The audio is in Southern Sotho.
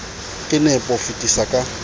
ka nepo ho fetisa ka